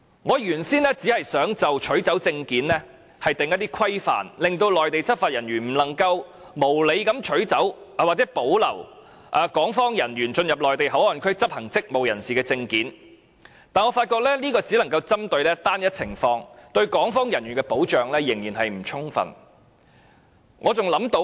我原先只想就取走證件作出規範，令內地執法人員不能無理地取走或保留港方人員進入內地口岸區執行職務時使用的證件，但我發覺這只能針對單一情況，對港方人員的保障仍然不充分。